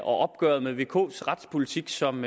og opgøret med vks retspolitik som